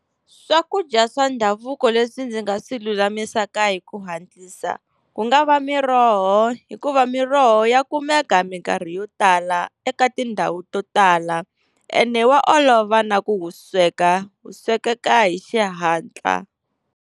Swakudya swa ndhavuko leswi ndzi nga swi lulamisaka hi ku hatlisa, ku nga va miroho hikuva miroho ya kumeka minkarhi yo tala eka tindhawu to tala ene wa olova na ku wu sweka wu swekeka hi xihatla.